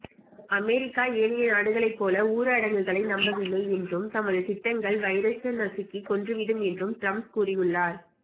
America ஏனைய நாடுகளைப் போல ஊரடங்குகளை நம்பவில்லை என்றும் தமது திட்டங்கள் வைரஸ நசுக்கிக் கொன்றுவிடும் என்றும் ட்ரம்ப் கூறியுள்ளார்